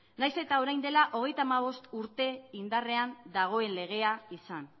nahiz eta orain dela hogeita hamabost urte indarrean dagoen legea izan